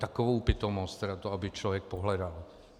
Takovou pitomost teda, to aby člověk pohledal!